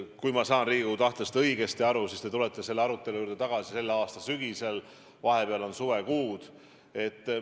Kui ma saan Riigikogu tahtest õigesti aru, siis te tulete selle arutelu juurde tagasi selle aasta sügisel, vahepeal on suvekuud.